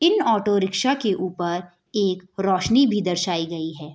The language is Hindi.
इन ऑटो रिक्शा के ऊपर एक रोशनी भी दर्शाइ गई है।